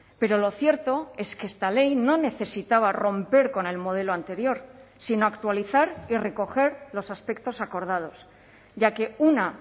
pero lo cierto es que esta ley no necesitaba romper con el modelo anterior sino actualizar y recoger los aspectos acordados ya que una